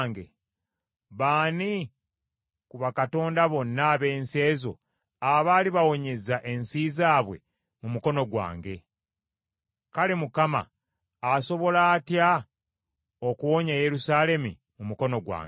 Baani ku bakatonda bonna ab’ensi ezo abaali bawonyezza ensi zaabwe mu mukono gwange? Kale Mukama asobola atya okuwonya Yerusaalemi mu mukono gwange?”